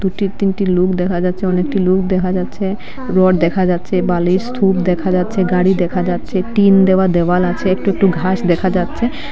তিনটি লুক দেখা যাচ্ছে অনেকটি লুক দেখা যাচ্ছে রড দেখা যাচ্ছে বালির স্তূপ দেখা যাচ্ছে গাড়ি দেখা যাচ্ছে টিন দেওয়া দেওয়াল আছে একটু একটু ঘাস দেখা যাচ্ছে।